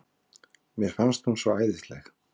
Mér fannst hún svo æðisleg.